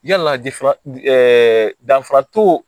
Yala danfara to